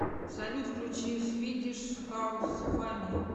салют включи свидиш хаус мафия